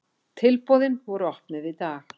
Tilboðin voru opnuð í dag.